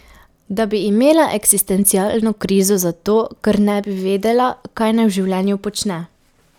Da bi imela eksistencialno krizo zato, ker ne bi vedela, kaj naj v življenju počne.